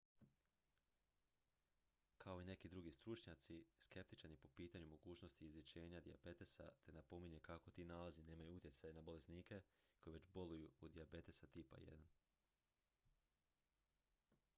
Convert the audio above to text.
kao i neki drugi stručnjaci skeptičan je po pitanju mogućnosti izlječenja dijabetesa te napominje kako ti nalazi nemaju utjecaj na bolesnike koji već boluju od dijabetesa tipa 1